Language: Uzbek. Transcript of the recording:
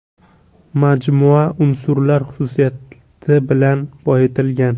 Majmua unsurlar xususiyati bilan boyitilgan.